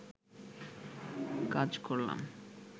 কাজ করলাম